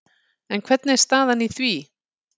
En hvernig er staðan í því?